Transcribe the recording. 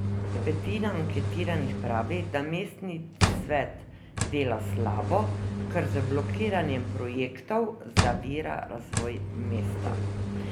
Petina anketiranih pravi, da mestni svet dela slabo, ker z blokiranjem projektov zavira razvoj mesta.